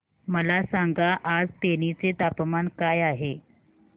मला सांगा आज तेनी चे तापमान काय आहे